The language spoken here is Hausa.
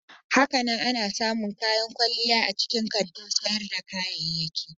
Hakanan ana samun kayan kwalliya a cikin kantin sayar da kayayyaki.